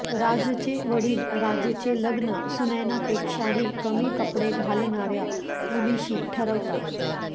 राजचे वडील राजचे लग्न सुनैनापेक्षाही कमी कपडे घालणाऱ्या मुलीशी ठरवतात